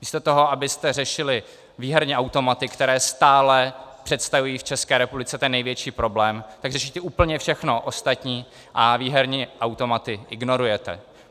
Místo toho, abyste řešili výherní automaty, které stále představují v České republice ten největší problém, tak řešíte úplně všechno ostatní a výherní automaty ignorujete.